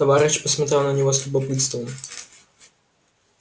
товарищ посмотрел на него с любопытством